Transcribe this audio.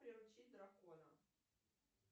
приручить дракона